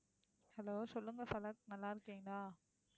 hello சொல்லுங்க, நல்லா இருக்கீங்களா?